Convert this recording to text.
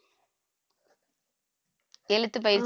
எழுத்து பயிற்சி